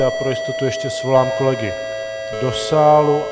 Já pro jistotu ještě svolám kolegy do sálu.